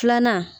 Filanan